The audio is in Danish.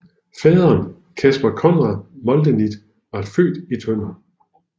Faderen Caspar Conrad Moldenit var født i Tønder